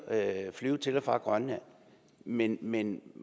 at flyve til og fra grønland men man